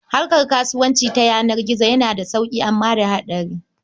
Harkar kasuwanci ta yanar gizo yana da sauƙi amma da hatsari.